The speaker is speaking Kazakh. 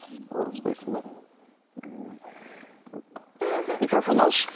хабарласпайсың ба ммм микрофон алшы